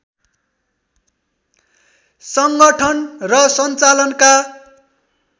सङ्गठन र सञ्चालनका